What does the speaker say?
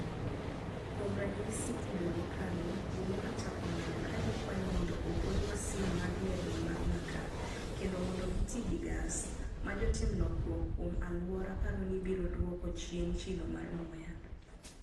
Kuom ranyisi, e dwe mokalo, ji ne ochako ng'anyo ka gikwayo mondo ogol masin mag mirni mag makaa, kendo mondo giti gi gas, ma jotim lokruok kuom alwora paro ni biro dwoko chien chilo mar muya.